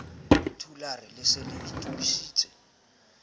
thulare le se le itokiseditse